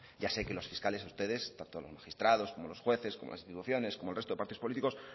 ya sé que los fiscales ustedes tanto los magistrados como los jueces como las instituciones como el resto de los partidos políticos